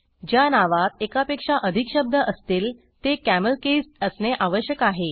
ज्या नावात एकापेक्षा अधिक शब्द असतील ते कॅमेलकेस्ड असणे आवश्यक आहे